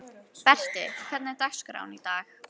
Berti, hvernig er dagskráin í dag?